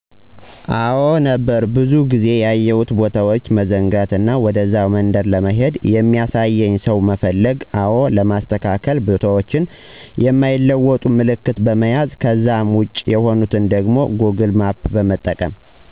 አዎ ነበሩ ብዙ ጊዜ ያየሁትን ቦታዎች መዘንጋት እና ወደዛ መንደር ለመሄድ የሚያሳየኝን ሰው መፈለግ አዎ ለማስተካከል ቦታዎችን የማይለወጥ ምልክት በመያዝ ከዛ ውጭ የሆኑትን ደግሞ ጎግል ማፕን በመጠቀም